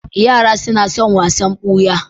Yara suna sun wasan ɓuya.